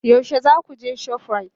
Yaushe za ku je shoprite?